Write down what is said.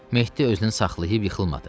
Mehdi özünü saxlayıb yıxılmadı.